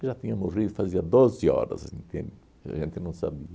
Ele já tinha morrido fazia doze horas, entende? E a gente não sabia.